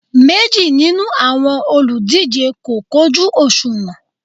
Méjì nínú àwọn olùdíje kò kojú òṣùwọ̀n